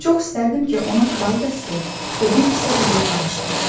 Çox istərdim ki, ona kral qəsri və bir kisə qızıl bağışlayım.